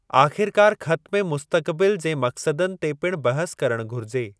आख़िरकार ख़त में मुस्तक़बिल जे मक़सदनि ते पिणु बहसु करणु घुरिजे।